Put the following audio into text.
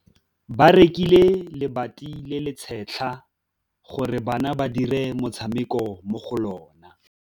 Ba rekile lebati le le setlha gore bana ba dire motshameko mo go lona.